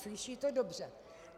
Slyšíte dobře.